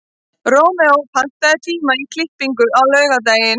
Rómeó, pantaðu tíma í klippingu á laugardaginn.